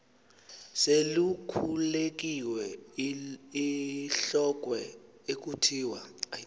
selikhulekiwe ilhokhwe ekuthiwa